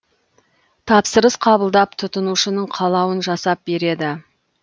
тапсырыс қабылдап тұтынушының қалауын жасап береді